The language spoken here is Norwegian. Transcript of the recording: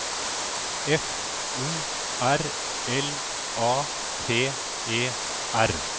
F O R L A T E R